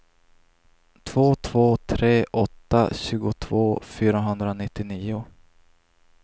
två två tre åtta tjugotvå fyrahundranittionio